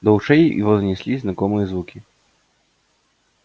до ушей его донеслись знакомые звуки